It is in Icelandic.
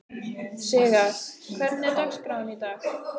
Sigarr, hvernig er dagskráin í dag?